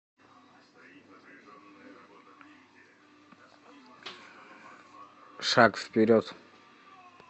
шаг вперед